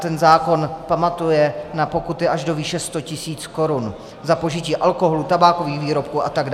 Ten zákon pamatuje na pokuty až do výše 100 000 korun za požití alkoholu, tabákových výrobků atd.